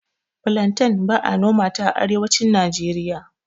Filanten ba'a nomanta a Arewacin Najeriya.